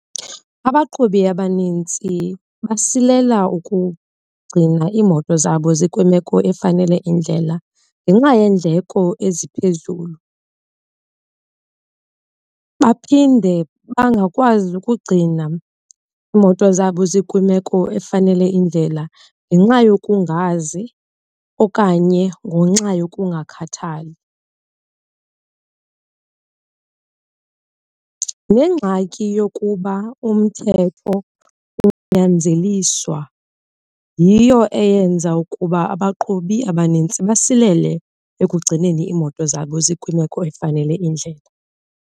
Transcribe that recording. Abaqhubi abanintsi basilela ukugcina iimoto zabo zikwimeko efanele indlela ngenxa yeendleko eziphezulu. Baphinde bangakwazi ukugcina iimoto zabo zikwimeko efanele indlela ngenxa yokungazi okanye ngenxa yokungakhathali. Nengxaki yokuba umthetho unyanzeliswa yiyo eyenza ukuba abaqhubi abanintsi basilele ekugcineni iimoto zabo zikwimeko efanele indlela.